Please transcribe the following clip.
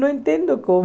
Não entendo